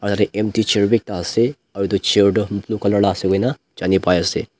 Tate empty chair bi ekta ase aro etu chair toh blue colour la ase koina jani pai ase.